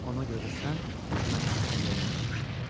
Ona görə də sən mənim haqqımda yanılmışdın.